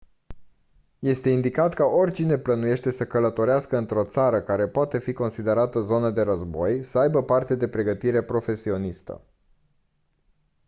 este indicat ca oricine plănuiește să călătorească într-o țară care poate fi considerată zonă de război să aibă parte de pregătire profesionistă